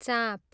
चाँप